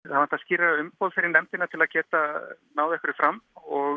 vantar skýrara umboð fyrir nefndina til að geta náð einhverju fram og